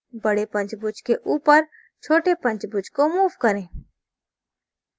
बडे पंचभुज के ऊपर छोटे पंचभुज को move करें